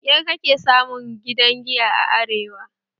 Da kyar kake samun w gidan giya a arewa